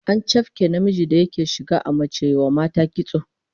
An chafke namijin da yake shiga a mace ya wa mata kitso